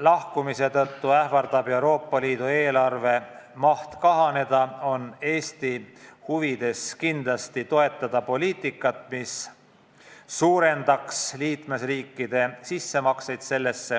lahkumise tõttu ähvardab Euroopa Liidu eelarve maht kahaneda, on Eesti huvides kindlasti toetada poliitikat, mis suurendaks liikmesriikide sissemakseid sellesse.